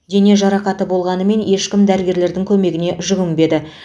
дене жарақаты болғанымен ешкім дәрігердің көмегіне жүгінбеді